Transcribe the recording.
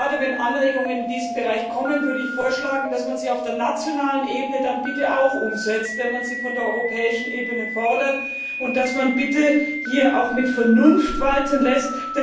Gerade wenn Anregungen in diesem Bereich kommen, würde ich vorschlagen, dass man sie auf der nationalen Ebene dann bitte auch umsetzt, wenn man sie von der europäischen Ebene fordert, und dass man bitte hier auch Vernunft walten lässt.